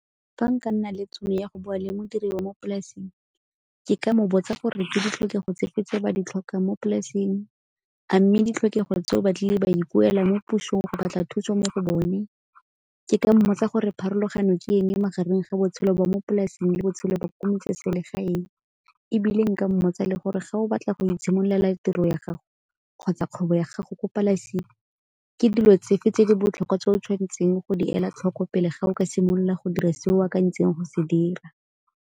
Fa nka nna le tšhono ya go bua le modiri wa mo polasing ke ka mo botsa gore ke ditlhokego tsefe tse ba di tlhokang mo polasing a mme ditlhokego tse ba tlile ba di buela mo pusong go batla thuso mo go bone? Ke ka mmotsa gore pharologano ke eng magareng ga botshelo ba mo polasing le botshelo ba ko metseselegaeng, ebile nka mmotsa le gore ga o batla go itshimololela tiro ya gago kgotsa kgwebo ya gago gore polasi ke dilo tse fe tse di botlhokwa tse o tshwanetseng go di ela tlhoko pele ga o ka simolola go dira se o akantseng go se dira?